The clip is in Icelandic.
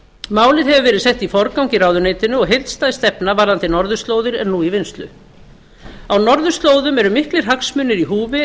málið hefur verið sett í forgang í ráðuneytinu og heildstæð stefna varðandi norðurslóðir er nú í vinnslu á norðurslóðum eru miklir hagsmunir í húfi